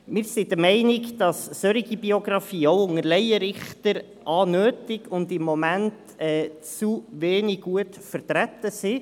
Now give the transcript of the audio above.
Wir sind der Meinung, dass solche Biografien auch unter Laienrichtern nötig und im Moment zu wenig gut vertreten sind.